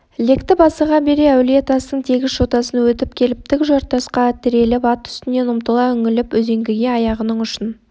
лектіп асыға бере әулие-тастың тегіс жотасын өтіп келіп тік жартасқа тіреліп ат үстінен ұмтыла үңіліп үзеңгіге аяғының ұшын